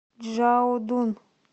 чжаодун